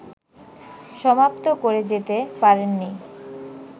সমাপ্ত করে যেতে পারেন নি